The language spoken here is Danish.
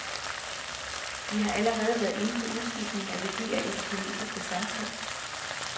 Vi har allerede været inde på udskiftningen af værdier i det kinesiske samfund.